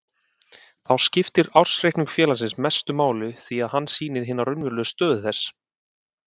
Þá skiptir ársreikningur félagsins mestu máli því að hann sýnir hina raunverulegu stöðu þess.